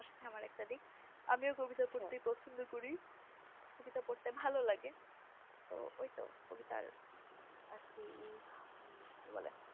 তোমার সাথে একটা দিক আমিও কবিতা পড়তে পছন্দ করি কবিতা পড়তে ভালো লাগে তো ঐতো কবিতার আর কি উহ কি বলে